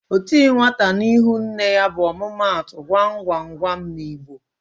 "O ti nwata n'ihu nne ya" bụ omumatu Gwa m gwa m gwa m n'Igbo